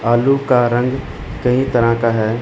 आलू का रंग कई तरह का है।